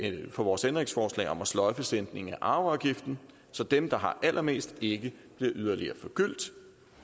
for vores ændringsforslag om at sløjfe sænkningen af arveafgiften så dem der har allermest ikke bliver yderligere forgyldt